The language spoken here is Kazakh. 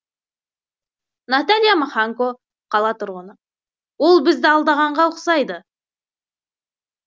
наталья маханько қала тұрғыны ол бізді алдағанға ұқсайды